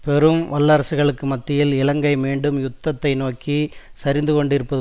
பெரும் வல்லரசுகளுக்கு மத்தியில் இலங்கை மீண்டும் யுத்தத்தை நோக்கி சரிந்துகொண்டிருப்பது